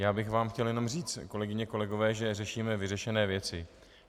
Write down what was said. Já bych vám chtěl jenom říct, kolegyně, kolegové, že řešíme vyřešené věci.